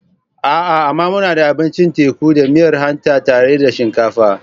A'a! amma muna da abincin teku da miyar hanta tare da shinkafa.